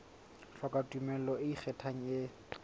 hloka tumello e ikgethang e